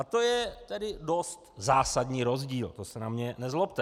A to je tedy dost zásadní rozdíl, to se na mě nezlobte.